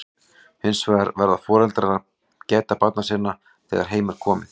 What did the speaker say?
hins vegar verða foreldrar að gæta barna sinna þegar heim er komið